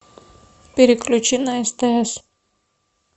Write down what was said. переключи на стс